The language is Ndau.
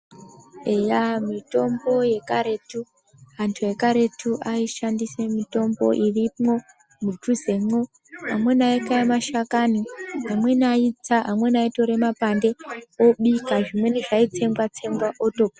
Eya mitombo yekaretu, antu ekaretu ayishandisa mitombo irimwo mudhuzemwo, amweni ayikaya mashakani, amweni ayitsa, amweni ayitora mapande obika, zvimweni zvayi tsengwa-tsengwa oto.